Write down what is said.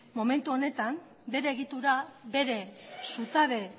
momentu honetan bere egitura bere zutabe